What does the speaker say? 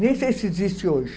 Nem sei se existe hoje.